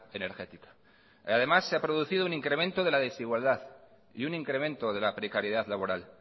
energética además se ha producido un incremento de la desigualdad y un incremento de la precariedad laboral